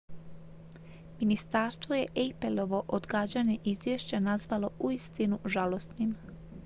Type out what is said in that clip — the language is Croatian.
"ministarstvo je appleovo odgađanje izvješća nazvalo "uistinu žalosnim"".